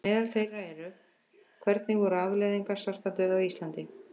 Meðal þeirra eru: Hvernig voru afleiðingar svartadauða á Íslandi?